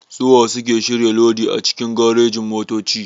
Suwa suke shirya lodi a cikin garejin-motoci?